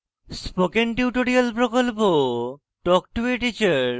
spoken tutorial প্রকল্প talk to a teacher প্রকল্পের অংশবিশেষ